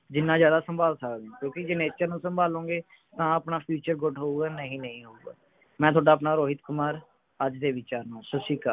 ਜਿੰਨਾ ਜਿਆਦਾ ਸੰਭਾਲ ਸਕਦੇ ਹੋ ਕਿਓਂਕਿ ਜੇ nature ਨੂੰ ਸੰਭਾਲੋਂਗੇ ਤਾਂ ਆਪਣਾ future good ਹੋਊਗਾ ਨਹੀਂ ਨਹੀਂ ਹੋਊਗਾ ਮੈਂ ਥੋਡਾ ਆਪਣਾ ਰੋਹਿਤ ਕੁਮਾਰ ਅੱਜ ਦੇ ਵਿਚਾਰ ਨਾਲ ਸੱਤ ਸ਼੍ਰੀ ਅਕਾਲ